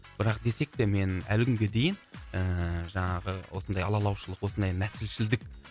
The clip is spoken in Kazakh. бірақ десек те мен әлі күнге дейін ііі жаңағы осындай алалаушылық осындай нәсілшілдік